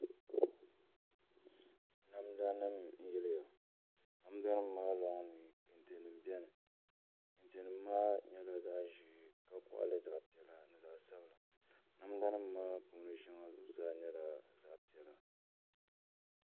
Namda nim n yiliha damdanim zaa dini n bɛni dini maa nyɛla nhɛla zaɣi zee ka koɣili zaɣ zee ka koɣili zaɣi piɛla ni zaɣi sabila namda nim maa puuni shɛŋa nyɛla zaɣi piɛla